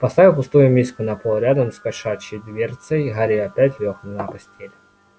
поставив пустую миску на пол рядом с кошачьей дверцей гарри опять лёг на постель